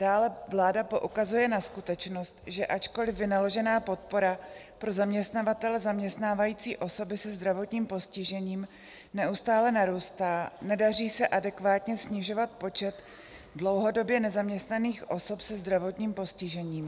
Dále vláda poukazuje na skutečnost, že ačkoliv vynaložená podpora pro zaměstnavatele zaměstnávající osoby se zdravotním postižením neustále narůstá, nedaří se adekvátně snižovat počet dlouhodobě nezaměstnaných osob se zdravotním postižením.